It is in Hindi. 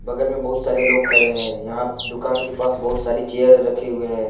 बगल में बहुत सारे लोग खड़े हैं यहां दुकान के पास बहुत सारी चेयर रखे हुए हैं।